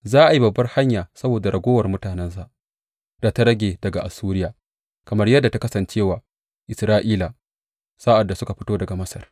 Za a yi babbar hanya saboda raguwa mutanensa da ta rage daga Assuriya, kamar yadda ta kasance wa Isra’ila sa’ad da suka fito daga Masar.